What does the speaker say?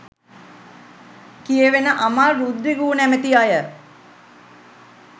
කියැවෙන අමල් රුද්‍රිගු නමැති අය